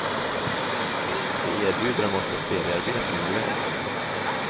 Vi erbjuder dem också feriearbeten med lön.